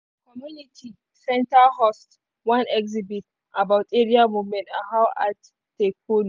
community center host one exhibit about area movement and how art take follow.